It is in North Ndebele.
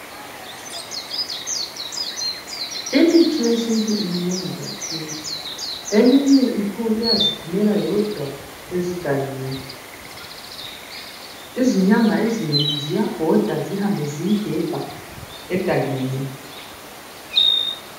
Imithi yesintu minengi kakhulu. Eminye iyaziphumela yodwa emagangeni. Izinyanga ziyabhoda zihambe ziyigebha egangeni.